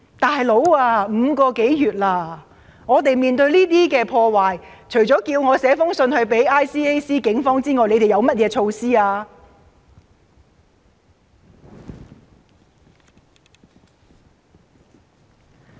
"老兄"，已經5個多月了，當我們面對這些破壞時，除了叫我寫信到 ICAC 或警方外，他們究竟還有甚麼措施呢？